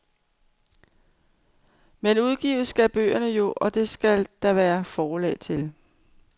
Men udgives skal bøgerne jo, og det skal der være forlag til.